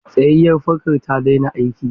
Tsayayyar fankan ta daina aiki.